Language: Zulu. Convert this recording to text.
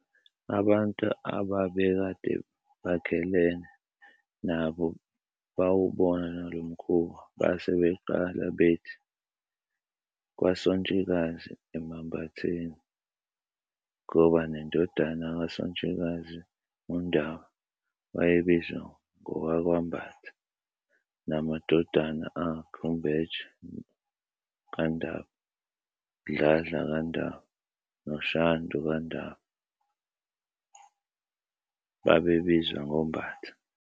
Abantu ababekade bakhelene nabo bawubona lomkhuba, base beqala bethi "kwaSontshikazi emambatheni". Ngoba nendodana kaSontshikazi, uNdaba, wayebizwa ngowakwaMbatha namadodana akhe uMbeje kaNdaba, Dladla kaNdaba noShandu kaNdaba babe bizwa ngoMbatha.